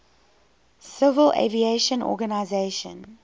civil aviation organization